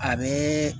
A bɛ